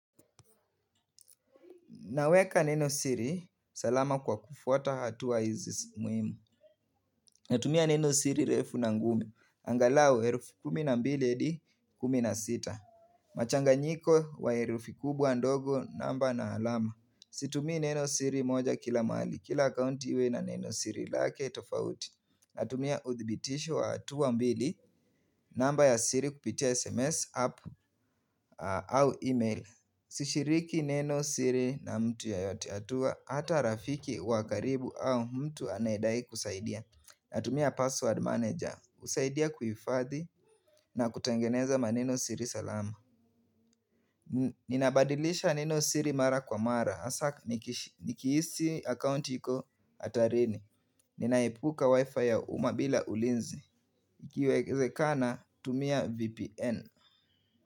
Naweka neno siri, salama kwa kufuata hatua hizi muhimu. Natumia neno siri refu na ngumu angalau herufi kumi na mbili hadi kumi na sita. Machanganyiko wa herufi kubwa l, ndogo namba na alama. Situmii neno siri moja kila mahali. Kila akaunti iwe na neno siri lake tofauti. Natumia udhibitisho wa hatua mbili. Namba ya siri kupitia SMS app au email. Sishiriki neno siri na mtu yoyote atua. Hata rafiki wa karibu au mtu anayedai kusaidia Natumia password manager. Husaidia kuhifadhi na kutengeneza maneno siri salama Ninabadilisha neno siri mara kwa mara hasa nikihisi account iko hatarini Ninaepuka wifi ya uma bila ulinzi. Ikiwezekana tumia VPN.